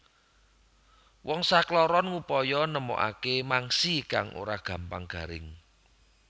Wong sakloron ngupaya nemokake mangsi kang ora gampang garing